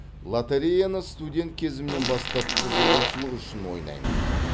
лотореяны студент кезімнен бастап қызығушылық үшін ойнаймын